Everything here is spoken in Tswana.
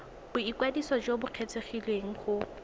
boikwadiso jo bo kgethegileng go